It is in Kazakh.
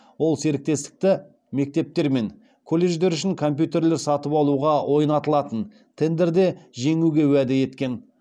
ол серіктестікті мектептер мен колледждер үшін компьютерлер сатып алуға ойнатылған тендерде жеңуге уәде еткен